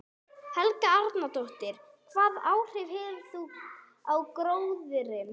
Helga Arnardóttir: Hvaða áhrif hefur það á gróðurinn?